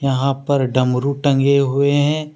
यहां पर डमरू टंगे हुए हैं।